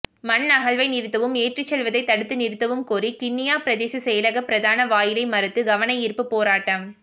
மண் அகழ்வை நிறுத்தவும் ஏற்றிச்செல்வதைக் தடுத்து நிறுத்தவும் கோரி கிண்ணியா பிரதேச செயலக பிரதான வாயிலை மறித்து கவனயீர்ப்பு போராட்டம்